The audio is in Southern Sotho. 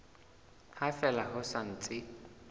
ha fela ho sa ntse